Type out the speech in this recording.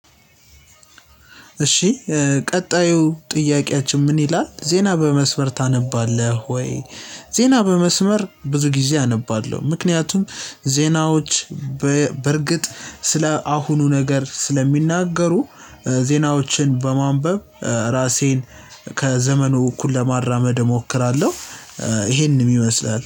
እሺ ቀጣዩ ጥያቄያችን ምን ይላል ዜና በመስመር ታነባለህ ወይ? ዜና በመስመር ብዙ ጊዜ አነባለሁ ምክንያቱም ዜናዎች በእርግጥ ስለ አሁኑ ነገር ስለሚናገሩ ዜናዎችን በማንበብ ራሴን ከዘመኑ እኩል ለማራመድ እሞክራለሁ። ይሄንን ይመስላል